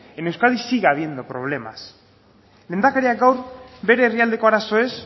en euskadi sigue habiendo problemas lehendakariak gaur bere herrialdeko arazoez